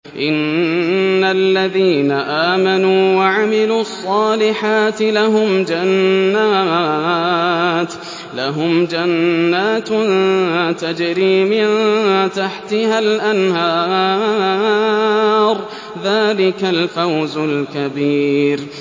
إِنَّ الَّذِينَ آمَنُوا وَعَمِلُوا الصَّالِحَاتِ لَهُمْ جَنَّاتٌ تَجْرِي مِن تَحْتِهَا الْأَنْهَارُ ۚ ذَٰلِكَ الْفَوْزُ الْكَبِيرُ